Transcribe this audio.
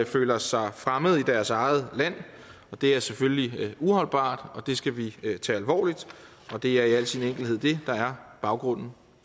føler sig fremmede i deres eget land og det er selvfølgelig uholdbart og det skal vi tage alvorligt og det er i al sin enkelthed det der er baggrunden